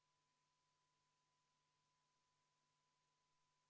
Panen hääletusele 19. muudatusettepaneku, mille on esitanud Eesti Konservatiivse Rahvaerakonna fraktsioon.